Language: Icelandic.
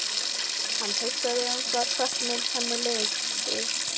Hann hugsaði um það hvernig henni liði.